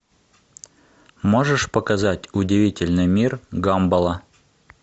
можешь показать удивительный мир гамбола